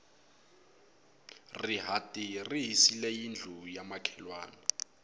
rihati ri hisile yindlu ya makhelwani